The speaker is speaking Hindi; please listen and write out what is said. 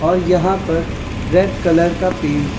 और यहां पर रेड कलर का पेंट है।